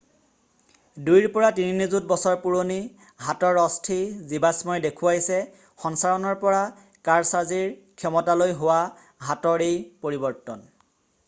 দুইৰ পৰা তিনি নিযুত বছৰ পুৰণি হাতৰ অস্থি জীৱাশ্মই দেখুৱাইছে সঞ্চাৰণৰ পৰা কাৰছাজিৰ ক্ষমতালৈ হোৱা হাতৰ এই পৰিৱৰ্তন